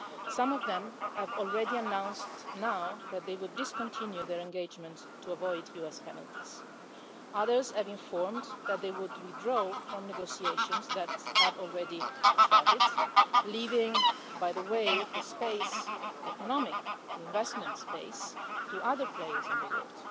Some of them have already announced now that they would discontinue their engagement so as to avoid US penalties. Others have informed that they would withdraw from negotiations that had already started leaving, by the way, the economic investment space to other players in the world,